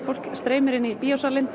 fólk streymir inn í